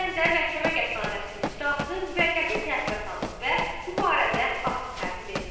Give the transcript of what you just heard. Bu səbəbdən də məhkəmə qətnaməsinin icrası müvəqqəti təxirə salınıb və bu barədə akt tərtib edilib.